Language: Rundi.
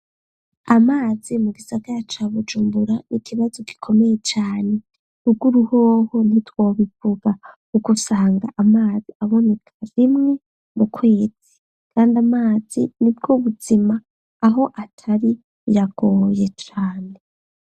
Amazi mu gisagara ca Bujumbura, n'ikibazo gikomeye cane. Ruguru hoho ntitwobivuga kuko usanga amazi aboneka rimwe mu kwezi, kandi amazi ni bwo buzima, aho atari, biragoye cane.